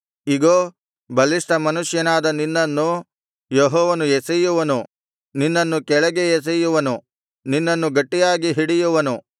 ಇಗೋ ಬಲಿಷ್ಠ ಮನುಷ್ಯನಾದ ನಿನ್ನನ್ನು ಯೆಹೋವನು ಎಸೆಯುವನು ನಿನ್ನನ್ನು ಕೆಳಗೆ ಎಸೆಯುವನು ನಿನ್ನನ್ನು ಗಟ್ಟಿಯಾಗಿ ಹಿಡಿಯುವನು